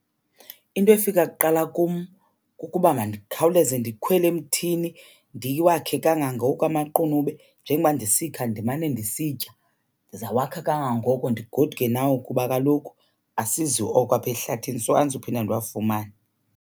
Into efika kuqala kum kukuba mandikhawuleze ndikhwele emthini ndiwakhe kangangoko amaqunube, njengoba ndisikha ndimane ndisitya. Ndizawakha kangangoko ndigoduke nawe kuba kaloku asizi oko apha ehlathini so andizuphinda ndiwafumane.